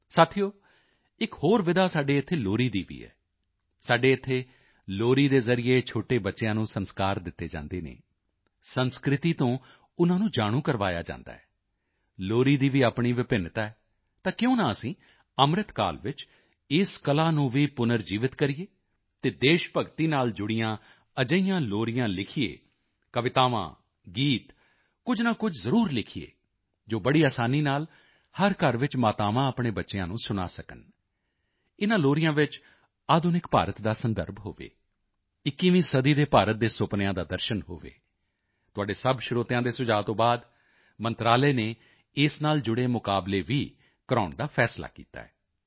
ਸਾਥੀਓ ਇੱਕ ਹੋਰ ਵਿਧਾ ਸਾਡੇ ਇੱਥੇ ਲੋਰੀ ਦੀ ਵੀ ਹੈ ਸਾਡੇ ਇੱਥੇ ਲੋਰੀ ਦੇ ਜ਼ਰੀਏ ਛੋਟੇ ਬੱਚਿਆਂ ਨੂੰ ਸੰਸਕਾਰ ਦਿੱਤੇ ਜਾਂਦੇ ਹਨ ਸੰਸਕ੍ਰਿਤੀ ਤੋਂ ਉਨ੍ਹਾਂ ਨੂੰ ਜਾਣੂ ਕਰਵਾਇਆ ਜਾਂਦਾ ਹੈ ਲੋਰੀ ਦੀ ਵੀ ਆਪਣੀ ਵਿਭਿੰਨਤਾ ਹੈ ਤਾਂ ਕਿਉਂ ਨਾ ਅਸੀਂ ਅੰਮ੍ਰਿਤ ਕਾਲ ਵਿੱਚ ਇਸ ਕਲਾ ਨੂੰ ਵੀ ਪੁਨਰ ਜੀਵਿਤ ਕਰੀਏ ਅਤੇ ਦੇਸ਼ ਭਗਤੀ ਨਾਲ ਜੁੜੀਆਂ ਅਜਿਹੀਆਂ ਲੋਰੀਆਂ ਲਿਖੀਏ ਕਵਿਤਾਵਾਂ ਗੀਤ ਕੁਝ ਨਾ ਕੁਝ ਜ਼ਰੂਰ ਲਿਖੀਏ ਜੋ ਬੜੀ ਅਸਾਨੀ ਨਾਲ ਹਰ ਘਰ ਵਿੱਚ ਮਾਤਾਵਾਂ ਆਪਣੇ ਬੱਚਿਆਂ ਨੂੰ ਸੁਣਾ ਸਕਣ ਇਨ੍ਹਾਂ ਲੋਰੀਆਂ ਵਿੱਚ ਆਧੁਨਿਕ ਭਾਰਤ ਦਾ ਸੰਦਰਭ ਹੋਵੇ 21ਵੀਂ ਸਦੀ ਦੇ ਭਾਰਤ ਦੇ ਸੁਪਨਿਆਂ ਦਾ ਦਰਸ਼ਨ ਹੋਵੇ ਤੁਹਾਡੇ ਸਭ ਸਰੋਤਿਆਂ ਦੇ ਸੁਝਾਅ ਤੋਂ ਬਾਅਦ ਮੰਤਰਾਲੇ ਨੇ ਇਸ ਨਾਲ ਜੁੜੇ ਮੁਕਾਬਲੇ ਵੀ ਕਰਵਾਉਣ ਦਾ ਫ਼ੈਸਲਾ ਕੀਤਾ ਹੈ